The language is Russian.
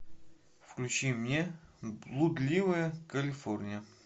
включи мне блудливая калифорния